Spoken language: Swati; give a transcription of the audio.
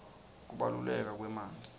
kubaluleka kwemanti